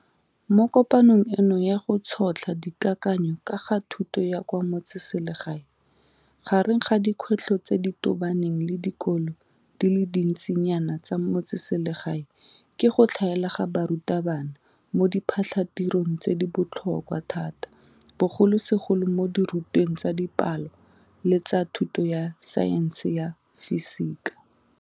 Mo kopanong eno ya go tšhotlha dikakanyo ka ga thuto ya kwa metseselegae, gareng ga dikgwetlho tse di tobaneng le dikolo di le dintsinyana tsa metseselegae ke go tlhaela ga barutabana mo diphatlhatirong tse di botlhokwa thata bogolosegolo mo dirutweng tsa Dipalo le tsa thuto ya Saense ya Fisika.